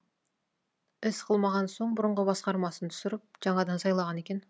іс қылмаған соң бұрынғы басқармасын түсіріп жаңадан сайлаған екен